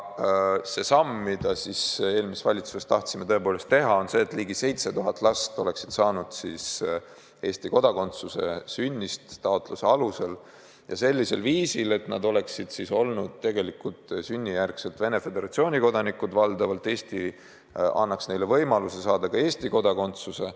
See samm, mille me eelmises valitsuses tahtsime tõepoolest teha, oli see, et ligi 7000 last oleks saanud Eesti kodakondsuse sünnist alates taotluse alusel ja sellisel viisil, et nad oleksid olnud tegelikult sünnijärgsed Venemaa Föderatsiooni kodanikud, aga valdavalt Eesti annaks neile võimaluse saada ka Eesti kodakondsuse.